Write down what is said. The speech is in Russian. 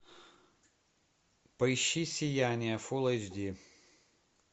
поищи сияние фулл эйч ди